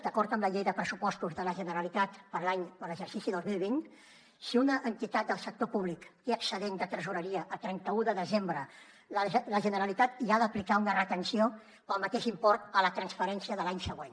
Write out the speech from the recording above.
d’acord amb la llei de pressupostos de la generalitat per a l’exercici dos mil vint si una entitat del sector públic té excedent de tresoreria a trenta un de desembre la generalitat hi ha d’aplicar una retenció pel mateix import a la transferència de l’any següent